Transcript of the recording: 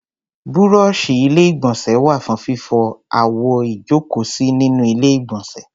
Búrọ́ọ̀ṣì Ilé-ìgbọ̀nsẹ̀ wà fún fífọ àwo ìjókòósí nínú Ilé-ìgbọ̀nsẹ̀.